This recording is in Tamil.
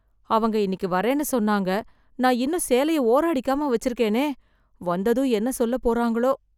அவுங்க இன்னைக்கு வரேன்னு சொன்னாங்க, நான் இன்னும் சேலைய ஓரம் அடிக்காம வச்சிருக்கனே வந்ததும் என்ன சொல்ல போறாங்களோ.